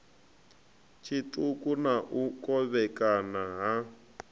tshiṱuku na u kovhekana ha